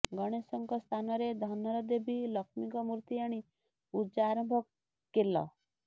ଗଣେଶଙ୍କ ସ୍ଥାନରେ ଧନର ଦେବୀ ଲକ୍ଷ୍ମୀଙ୍କ ମୂର୍ତ୍ତି ଆଣି ପୂଜା ଆରମ୍ଭ କେଲ